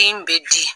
Den bɛ di